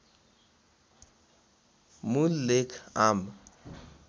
मूल लेख आम